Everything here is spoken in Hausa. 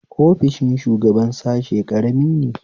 Ofishin shugaban sashe ƙarami ne